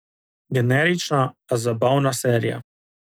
Generična, a zabavna serija.